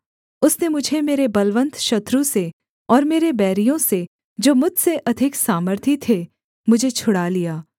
उसने मुझे मेरे बलवन्त शत्रु से और मेरे बैरियों से जो मुझसे अधिक सामर्थी थे मुझे छुड़ा लिया